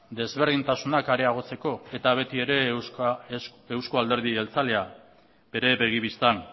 desberdintasunak areagotzeko eta beti ere euzko alderdi jeltzalea bere begi bistan